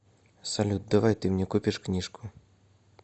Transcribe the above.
салют давай ты мне купишь книжку